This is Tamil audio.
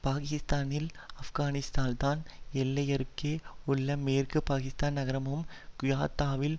பாகிஸ்தானில் ஆப்கானிஸ்தான் தான் எல்லையருகே உள்ள மேற்கு பாகிஸ்தான் நகரமமான குயாத்தாவில்